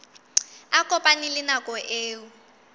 a kopane le nako eo